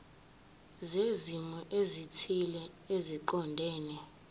zezimo ezithile eziqondene